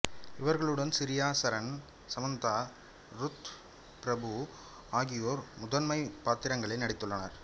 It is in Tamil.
இவர்களுடன் சிரேயா சரன் சமந்தா ருத் பிரபு ஆகியோர் முதன்மைப் பாத்திரங்களில் நடித்துள்ளனர்